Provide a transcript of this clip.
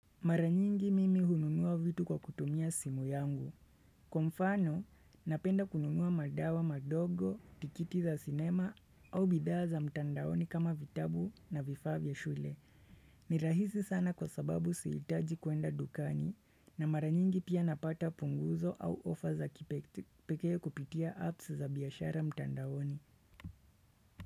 Maranyingi mimi hununua vitu kwa kutumia simu yangu. Kwa mfano, napenda kununua madawa madogo, tikiti za sinema au bidhaa za mtandaoni kama vitabu na vifaa vya shule. Ni rahisi sana kwa sababu sihiitaji kwenda dukani na maranyingi pia napata punguzo au offer za kipekee kupitia apps za biaashara mtandaoni.